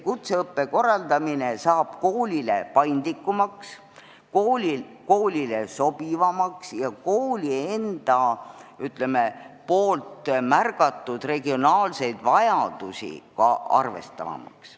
Kutseõppe korraldamine saab koolile paindlikumaks ja sobivamaks ning ka kooli enda märgatud regionaalseid vajadusi arvestavamaks.